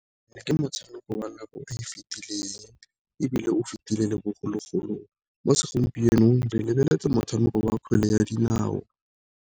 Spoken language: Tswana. Ke motshameko wa nako e e fitileng, ebile o fetile le bogologolo mo segompienong re lebeletse motshameko wa kgwele ya dinao.